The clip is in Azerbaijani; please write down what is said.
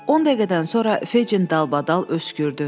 10 dəqiqədən sonra Fejin dalbadal öskürdü.